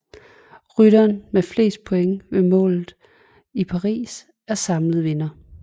Rytteren med flest point ved målet i Paris er samlet vinder